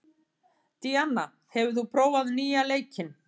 Díanna, hefur þú prófað nýja leikinn?